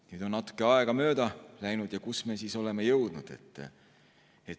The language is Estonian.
Nüüd on natuke aega mööda läinud ja kuhu me siis oleme jõudnud?